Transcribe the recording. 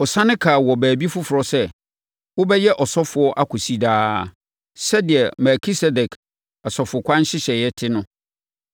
Ɔsane kaa wɔ baabi foforɔ sɛ, “Wobɛyɛ ɔsɔfoɔ akɔsi daa sɛdeɛ Melkisedek asɔfokwan nhyehyɛeɛ te no.”